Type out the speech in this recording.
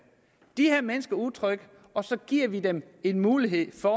de her mennesker er utrygge og så giver vi dem en mulighed for